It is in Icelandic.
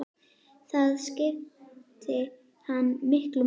Það skipti hana miklu máli.